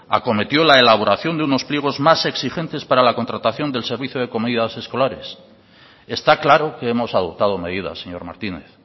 acometió la elaboración de unos pliegos más exigentes para la contratación del servicio de comidas escolares está claro que hemos adoptado medidas señor martínez